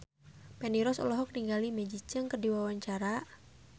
Feni Rose olohok ningali Maggie Cheung keur diwawancara